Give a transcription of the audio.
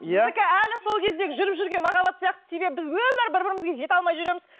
әлі сол кездегі жүріп жүрген махаббат сияқты себебі біз өмірі бір бірімізге жете алмай жүреміз